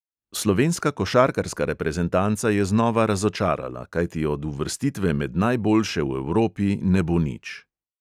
Slovenska košarkarska reprezentanca je znova razočarala, kajti od uvrstitve med najboljše v evropi ne bo nič.